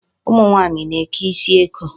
Ụmụ nwaanyị na-eke isi eko.